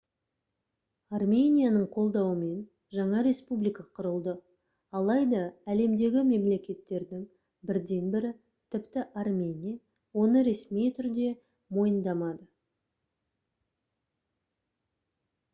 арменияның қолдауымен жаңа республика құрылды алайда әлемдегі мемлекеттердің бірден бірі тіпті армения оны ресми түрде мойындамады